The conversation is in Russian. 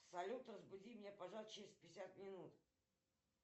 салют разбуди меня пожалуйста через пятьдесят минут